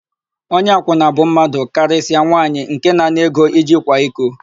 Onye akwụna bụ mmadụ, karịsịa nwaanyị nke na-ana ego iji kwa iko.